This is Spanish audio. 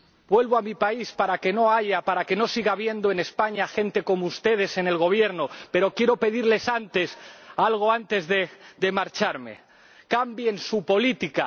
Vuelvo a mi país para que no haya, para que no siga habiendo en España gente como ustedes en el Gobierno, pero quiero pedirles algo antes de marcharme cambien su política.